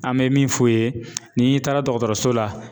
An be min f'u ye, n'i taara dɔgɔtɔrɔso la